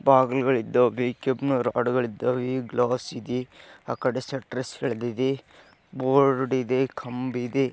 ಬಾಗಿಲುಗಳು ಇದ್ದಾವ್ ಕೆಂಪ್ ಇದ್ದಾವೆ ಈ ಗ್ಲಾಸ್‌ ಇದೆ ಆಕಡೆ ಶೆಟ್ಟರ್ಸ್ಗ ಲಿದಿದೆ ಬೋರ್ಡ್‌ ಇದೆ ಕಂಬಿದೆ.